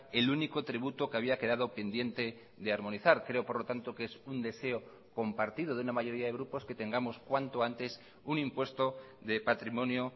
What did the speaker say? el único tributo que había quedado pendiente de armonizar creo por lo tanto que es un deseo compartido de una mayoría de grupos que tengamos cuanto antes un impuesto de patrimonio